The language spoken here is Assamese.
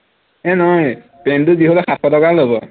এৰ নহয় pant টো যি হলেও সাতশ টকা লব